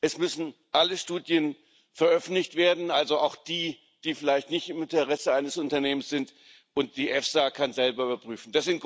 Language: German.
Es müssen alle Studien veröffentlicht werden, also auch die, die vielleicht nicht im Interesse eines Unternehmens sind, und die EFSA kann selber überprüfen.